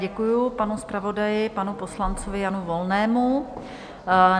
Děkuju panu zpravodaji, panu poslanci Janu Volnému.